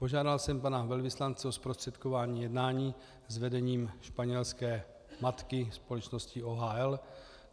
Požádal jsem pana velvyslance o zprostředkování jednání s vedením španělské matky, společnosti OHL.